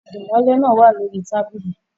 Dimole naa wa lori tabili